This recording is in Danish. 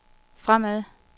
fremad